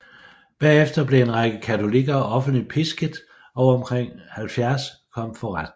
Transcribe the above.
Bagefter blev en række af katolikker offentligt pisket og omkring 70 kom for retten